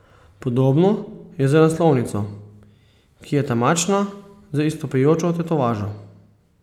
Podobno je z naslovnico, ki je temačna z izstopajočo tetovažo.